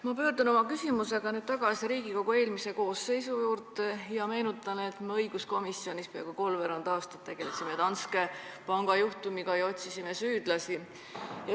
Ma pöördun oma küsimusega tagasi Riigikogu eelmise koosseisu juurde ja meenutan, et me õiguskomisjonis peaaegu kolmveerand aastat tegelesime Danske Banki juhtumiga ja otsisime süüdlasi.